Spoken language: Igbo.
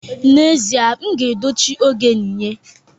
N'ezie, m ga-eji dochie oge yinye